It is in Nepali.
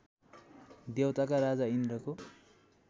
देवताका राजा इन्द्रको